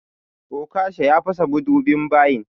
Okasha ya fasa madubin bayin.